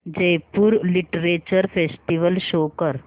Jaipur literature festival show कर